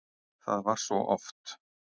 Það var oft svo.